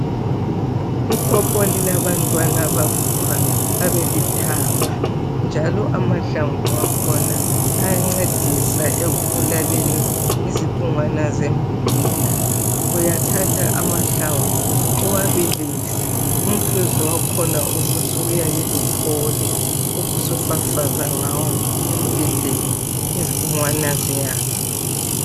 Ipopo lilabantwana bavuthwa babelithanga njalo amahlamvu akhona ayancedisa ekubulaleni izibungwana zembida, uyathatha amahlamvu uwabilise umhluzi wakhona ubusuwuyekeluphole ubusufafaza ngawo embideni izibungwana ziyafa.